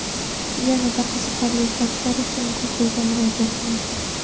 Yanada qiziqarli faktlar uchun Google ga murojaat qiling).